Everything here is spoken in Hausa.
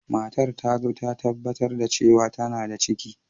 Matar ta zo ta tabbatar da cewa tana da ciki.